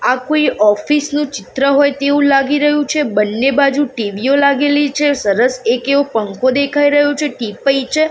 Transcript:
આ કોઈ ઓફિસ નું ચિત્ર હોય તેવું લાગી રહ્યું છે બંને બાજુ ટી_વી ઓ લાગેલી છે સરસ એક એવો પંખો દેખાય રહ્યો છે ટીપય છે.